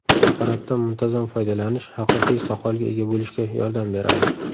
Preparatdan muntazam foydalanish haqiqiy soqolga ega bo‘lishga yordam beradi.